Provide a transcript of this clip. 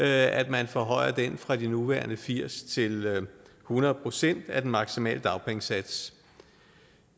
at man forhøjer den fra de nuværende firs til hundrede procent af den maksimale dagpengesats